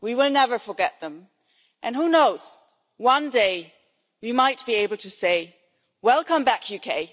We will never forget them, and who knows one day we might be able to say welcome back, UK